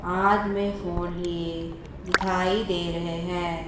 आध मैं फोन लिए दिखाई दे रहे हैं।